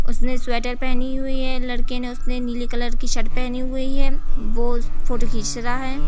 उसने स्वेटर पहनी हुई है। लड़के ने उसने नीली कलर की सर्ट पहनी हुई है। वो फोटो खींच रहा है।